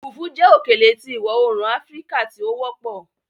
Fùfú jẹ́ òkèlè tí ìwọ-oòrùn Áfíríkà tí ó wọpọ̀